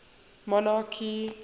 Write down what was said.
monarchy